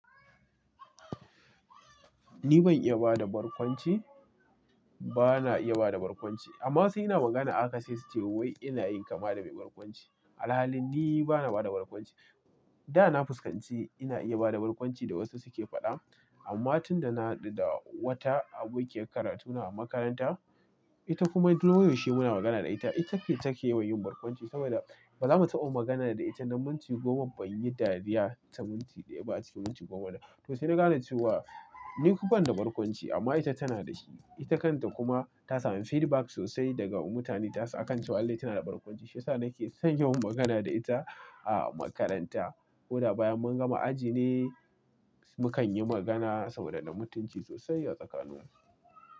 Ni ban iya ba da barkwanci, bana iya ba da barkwanci amma sai ina magana ahaka se su ce wai ina yin kama da mai barkwanci. A alhalin ni bana ba da barkwanci. Da na fuskanci ina iya ba da barkwanci da wasu suke faɗa amma tun da na haɗu da wata abokiyar karatu na a makaranta, ita kuma duk lokacin da muna magana da ita, ita take, take yawan yin barkwanci saboda bazamu taɓa magana da ita na minti goma banyi dariya ta minti daya ba a cikin minti goma da. To sai na ga na ce wa ni ban da barkwanci amma ita tana da shi. Ita kanta kuma ta sami feedback sosai daga mutane ta san akanta wallahi tana da barkwanci. Shi nake son yi wa magana da ita a makaranta. Ko da bayan mun gama aji ne, mukan yi magana sau da na minti sosai a tsakaninmu.